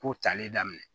Ko tali daminɛ